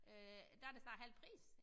Øh der det snart halv pris